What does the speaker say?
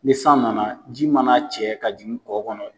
Ni san nana ji ma na cɛ ka jigin kɔ kɔnɔ.